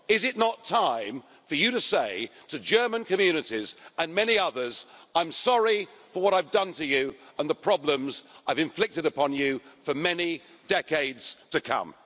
Is it not time for you to say to German communities and many others I'm sorry for what I've done to you and the problems I have inflicted upon you for many decades to come'?